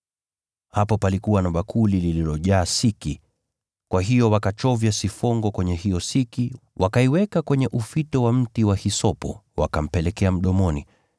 Hapo palikuwa na bakuli lililojaa siki. Kwa hiyo wakachovya sifongo kwenye hiyo siki, wakaiweka kwenye ufito wa mti wa hisopo, wakampelekea mdomoni.